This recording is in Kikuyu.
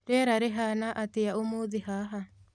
rĩera rĩhana atĩa ũmũthĩ haha